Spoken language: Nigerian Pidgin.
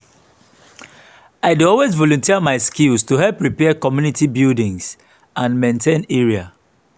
i dey always volunteer my skills to help repair community buildings and maintain area.